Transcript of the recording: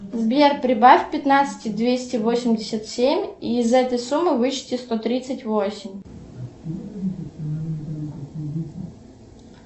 сбер прибавь к пятнадцати двести восемьдесят семь и из этой суммы вычти сто тридцать восемь